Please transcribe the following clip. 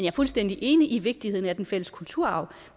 er fuldstændig enig i vigtigheden af den fælles kulturarv